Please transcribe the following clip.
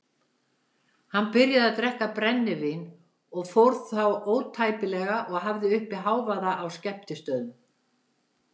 Hann byrjaði að drekka brennivín og fór þá ótæpilega og hafði uppi hávaða á skemmtistöðum.